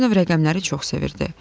Barinov rəqəmləri çox sevirdi.